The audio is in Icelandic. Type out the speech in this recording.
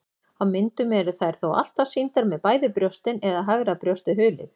Á myndum eru þær þó alltaf sýndar með bæði brjóstin eða hægra brjóstið hulið.